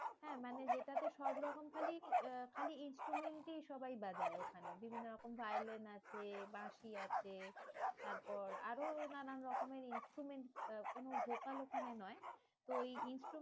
হ্যাঁ মানে যেটাতে সবরকম খালি আহ খালি instrument ই সবাই বাজায় ওখানে বিভিন্ন রকম violin আছে, বাঁশি আছে। তারপর আরো নানান রকমের instrument আহ কোনো local ওখানে নয় তো ওই